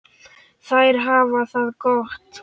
Þær hafa það gott.